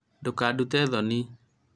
ndũkadute thoni